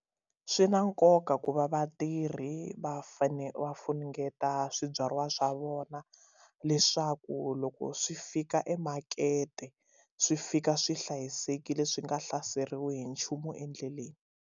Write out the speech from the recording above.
Swi na nkoka ku va vatirhi va fane va funengeta swibyariwa swa vona leswaku loko swi fika emakete swi fika swi hlayisekile swi nga hlaseriwi hi nchumu endleleni.